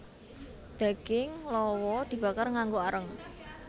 Daging lawa dibakar nganggo areng